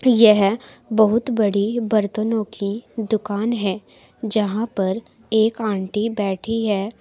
यह बहुत बड़ी बर्तनों की दुकान है जहां पर एक आंटी बैठी है।